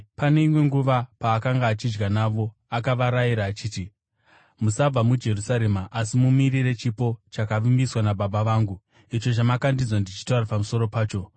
Pane imwe nguva, paakanga achidya navo, akavarayira achiti, “Musabva muJerusarema, asi mumirire chipo chakavimbiswa naBaba vangu, icho chamakandinzwa ndichitaura pamusoro pacho.